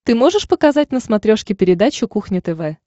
ты можешь показать на смотрешке передачу кухня тв